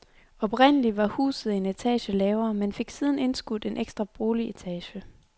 Oprindelig var huset en etage lavere, men fik siden indskudt en ekstra boligetage.